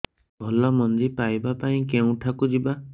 ଭଲ ମଞ୍ଜି ପାଇବା ପାଇଁ କେଉଁଠାକୁ ଯିବା